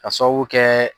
Ka sababu kɛ